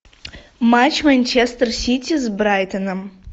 матч манчестер сити с брайтоном